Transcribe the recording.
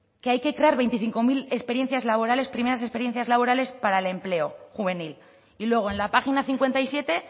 que hay que crear veinticinco mil experiencias laborales primeras experiencias laborales para el empleo juvenil y luego en la página cincuenta y siete